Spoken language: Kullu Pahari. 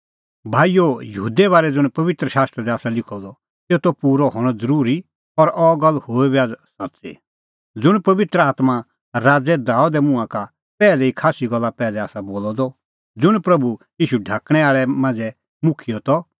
भाईओ यहूदे बारै ज़ुंण पबित्र शास्त्रा दी आसा लिखअ द तेतो पूरअ हणअ त ज़रूरी और अह गल्ल हुई बी आझ़ सच्च़ी ज़ुंण पबित्र आत्मां राज़ै दाबेदे मुंहां का पैहलै ई खास्सी साला पैहलै आसा बोलअ द ज़ुंण प्रभू ईशू ढाकणैं आल़ै मांझ़ै मुखिय त